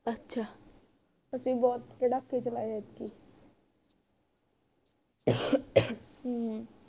ਅੱਛਾ ਅਸੀਂ ਬੁਹਤ ਪਟਾਕੇ ਚਲਾਏ ਐਤਕੀ ਹਮ